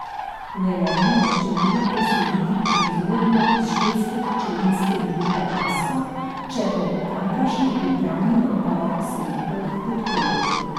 V Velenje želijo preseliti proizvodnjo iz švedske hčerinske družbe Asko, če bo tamkajšnji upravni odbor selitev podprl.